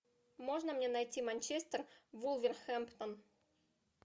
можно мне найти манчестер вулверхэмптон